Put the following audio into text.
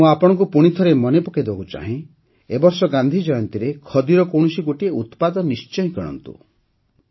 ମୁଁ ଆପଣଙ୍କୁ ପୁଣିଥରେ ମନେ ପକେଇଦେବାକୁ ଚାହେଁ ଯେ ଏ ବର୍ଷ ଗାନ୍ଧି ଜୟନ୍ତୀରେ ଖଦୀର କୌଣସି ଗୋଟିଏ ଉତ୍ପାଦ ନିଶ୍ଚୟ କିଣନ୍ତୁ